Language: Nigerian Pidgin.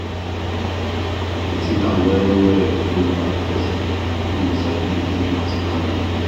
dey think am well well before you ask person wey you sabi to give you personal loan